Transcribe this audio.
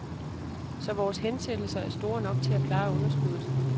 Så vores hensættelser er store nok til at klare underskuddet.